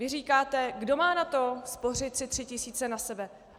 Vy říkáte: Kdo má na to spořit si tři tisíce na sebe?